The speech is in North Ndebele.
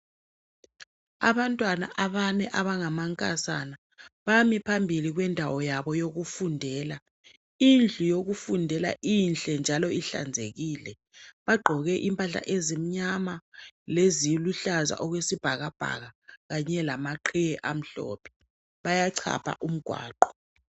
Abantwana abane abangamankazana bami phambili kwendawo yabo yokufundela. Indlu yokufundela inhle njalo ihlanzekile. Bagqoke impahla ezimnyama leziluhlaza okwesibhakabhaka kanye lamaqhiye amhlophe bayachapha umgwaqo.